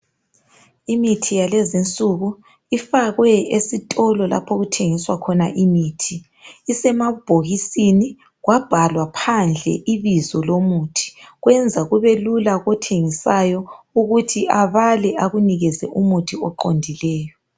Imithi yalezi insuku. Ifakwe esitolo lapho okuthengiswa khona imithi. Isemabhokisi. Kwabhalwa phandle ibizo lomuthi. Kwenza kube lula kothengisayo ukuthi abale, akunikeze umuthi oqondileyo.